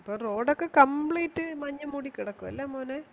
അപ്പൊ Road ഒക്കെ Complete മഞ്ഞ് മൂടി കിടക്കും അല്ലെ മോനെ